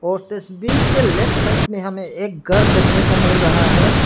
और तस्वीर के लेफ्ट साइड मे हमें एक घर देखने को मिल रहा है।